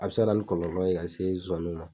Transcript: A be se ka na ni kɔlɔlɔ ye ka se zonzanniw ma.